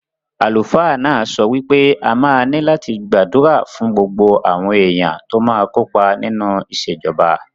Àlùfáà náà sọ wí pé a máa ní láti gbàdúrà fún gbogbo àwọn èèyàn tó máa kó pa nínú ìṣèjọba